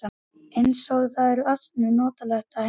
Eins og það er ansi notalegt heima.